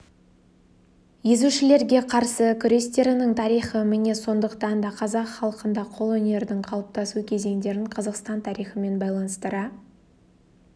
езушілерге қарсы күрестерінің тарихы міне сондықтан да қазақ халқында қолөнердің қалыптасу кезеңдерін қазақстан тарихымен байланыстыра